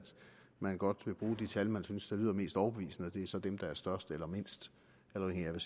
man godt vil bruge de tal man synes lyder mest overbevisende og det er så dem der er størst eller mindst afhængigt af